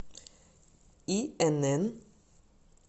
инн